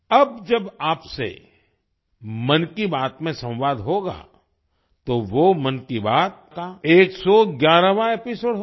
अब जब आपसे मन की बात में संवाद होगा तो वो मन की बात का 111वाँ एपिसोड होगा